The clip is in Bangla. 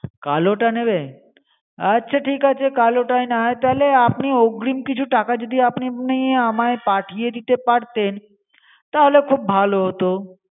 কালোটা নেবে? আচ্ছা ঠিক আছে কালোটাই না হয় তাহলে অগ্রিম কিছু টাকা যদি আপনি আপনি আমায় পাঠিয়ে দিতে পারতেন তাহলে খুব ভাল হত।